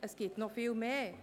es gibt noch viel mehr.